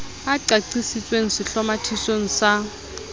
e qaqisitsweng sehlomathisong sa a